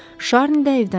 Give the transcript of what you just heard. Şarni də evdən çıxdı.